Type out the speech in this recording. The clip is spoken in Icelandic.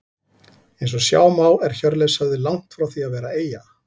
Eins og sjá má er Hjörleifshöfði langt frá því að vera eyja.